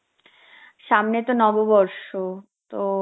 সামনে তো নববর্ষ, তো